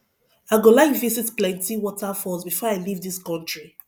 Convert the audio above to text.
i go like visit plenty waterfalls before i leave this country